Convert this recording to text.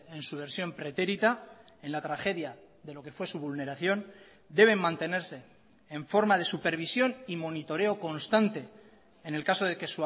en su versión pretérita en la tragedia de lo que fue su vulneración deben mantenerse en forma de supervisión y monitoreo constante en el caso de que